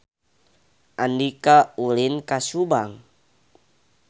Andika ulin ka Subang